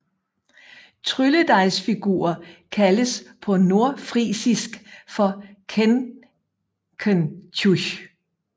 Trylledejsfigurer kaldes på nordfrisisk for kenkentjüch